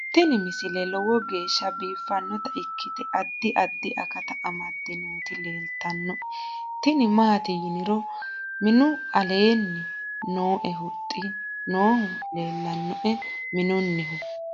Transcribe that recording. tini misile lowo geeshsha biiffannota ikkite addi addi akata amadde nooti leeltannoe tini maati yiniro minu leellanni nooe huxxu noohu leelannoe minunnihu